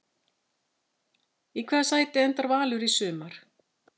Í hvaða sæti endar Valur í sumar?